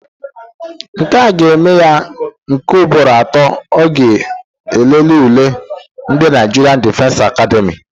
Nkea ga-eme ya nke ugboro atọ ọ ga-elele ule ndị Naịjirịan Difensi Akademị